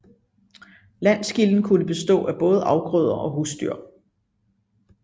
Landgilden kunne bestå af både afgrøder og husdyr